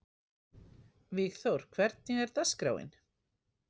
Vígþór, hvernig er dagskráin?